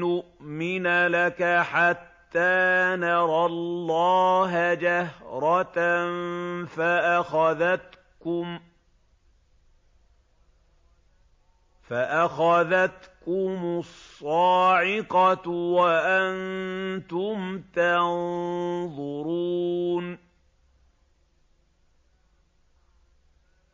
نُّؤْمِنَ لَكَ حَتَّىٰ نَرَى اللَّهَ جَهْرَةً فَأَخَذَتْكُمُ الصَّاعِقَةُ وَأَنتُمْ تَنظُرُونَ